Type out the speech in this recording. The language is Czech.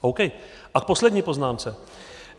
A v poslední poznámce.